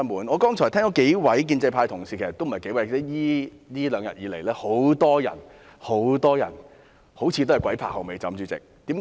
我剛才聽到數位建制派同事——其實也不止數位——這兩天有很多、很多人似乎"鬼拍後尾枕"。